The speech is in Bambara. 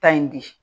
Tan in di